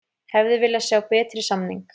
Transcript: Hefði viljað sjá betri samning